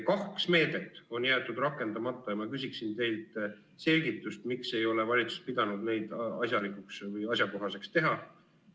Kaks meedet on jäetud rakendamata ja ma küsin teilt selgitust, miks ei ole valitsus pidanud neid asjalikuks või asjakohaseks teha.